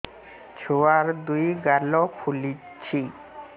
ଛୁଆର୍ ଦୁଇ ଗାଲ ଫୁଲିଚି